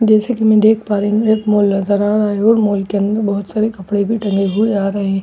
जैसे कि मैं देख पा रही हूं एक मॉल नजर आ रहा है और मॉल के अंदर बहुत सारे कपड़े भी टंगे हुए आ रहे हैं और बहुत--